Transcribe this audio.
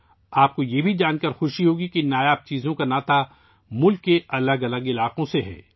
آپ کو یہ جان کر بھی خوشی ہوگی کہ ان نایاب اشیاء کا تعلق ملک کے مختلف علاقوں سے ہے